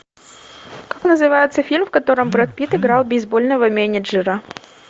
как называется фильм в котором брэд питт играл бейсбольного менеджера